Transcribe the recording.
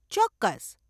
ચોક્કસ.